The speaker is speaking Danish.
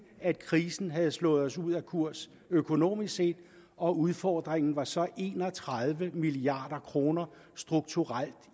at krisen havde slået os ud af kurs økonomisk set og udfordringen var så en og tredive milliard kroner strukturelt